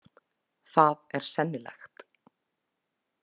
Það er sennilegt.